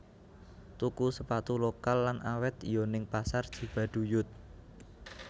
Tuku sepatu lokal lan awet yo ning Pasar Cibaduyut